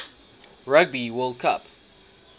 rugby world cup